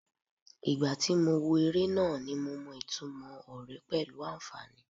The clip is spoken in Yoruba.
Ìgbà tí mo wo eré náà ni mo mọ ìtumò ọ̀rẹ́ pẹ̀lú àǹfàní.